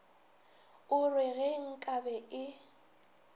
o re ge nkabe e